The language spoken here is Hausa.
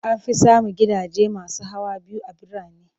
An fi samun gidaje masu hawa biyu a birane.